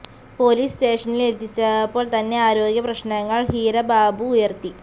police സ്റ്റേഷനിൽ എത്തിച്ചപ്പോൾ തന്നെ ആരോഗ്യ പ്രശ്നങ്ങൾ ഹീര ബാബു ഉയർത്തി